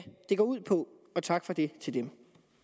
det går ud på og tak for det til dem